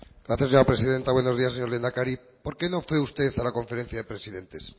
gracias señora presidenta buenos días señor lehendakari por qué no fue usted a la conferencia de presidentes